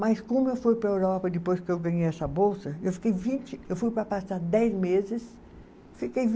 Mas como eu fui para a Europa depois que eu ganhei essa bolsa, eu fiquei vinte, eu fui para passar dez meses, fiquei